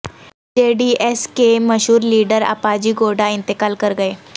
جے D S کے مشہور leader Appaji Gowda انتقال کر گئے